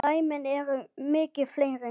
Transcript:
Dæmin eru mikið fleiri.